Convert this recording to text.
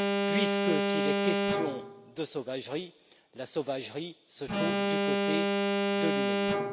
puisque s'il est question de sauvagerie, la sauvagerie se trouve du côté de l'humanité.